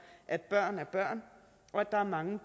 at børn er børn og at der er mange